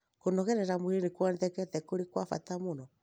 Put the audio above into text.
kũnogora mwĩrĩ nĩ kuonekete kũrĩ gwa bata mũno